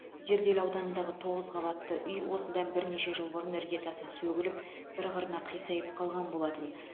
зерделі ауданындағы тоғыз қабатты үй осыдан бірнеше жыл бұрын іргетасы сөгіліп бір қырына қисайып қалған болатын